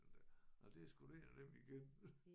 Den der nåh det sgu da en af dem igen